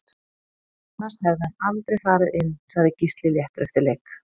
Annars hefði hann aldrei farið inn Sagði Gísli léttur eftir leik